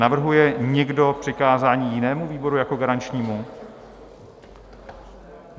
Navrhuje někdo přikázání jinému výboru jako garančnímu?